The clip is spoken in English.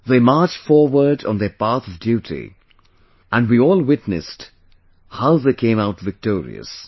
They marched forward on their path of duty and we all witnessed how they came out victorious